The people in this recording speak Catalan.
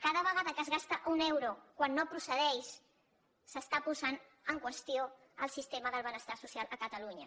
cada vegada que es gasta un euro quan no procedeix s’està posant en qüestió el sistema del benestar social a catalunya